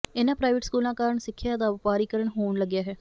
ਇਨ੍ਹਾਂ ਪ੍ਰਾਈਵੇਟ ਸਕੂਲਾਂ ਕਾਰਨ ਸਿੱਖਿਆ ਦਾ ਵਪਾਰੀਕਰਨ ਹੋਣ ਲੱਗਿਆ ਹੈ